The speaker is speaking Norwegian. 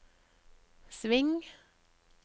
sving